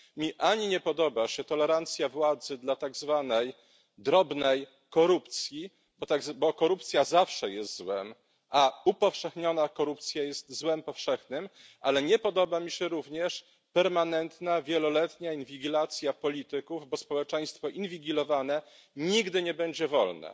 Mnie nie podoba się tolerancja władzy dla tak zwanej drobnej korupcji, bo korupcja zawsze jest złem, a upowszechniona korupcja jest złem powszechnym, ale nie podoba mi się również permanentna, wieloletnia inwigilacja polityków, bo społeczeństwo inwigilowane nigdy nie będzie wolne.